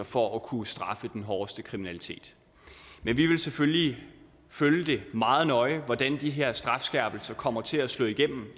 for at kunne straffe den hårdeste kriminalitet men vi vil selvfølgelig følge meget nøje hvordan de her strafskærpelser kommer til at slå igennem